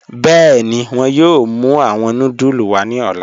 Bẹẹni, wọn yọọ mù awọn núdúlù wa ni ọ̀lá.